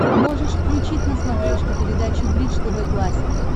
можешь включить на смотрешке передачу бридж тв классик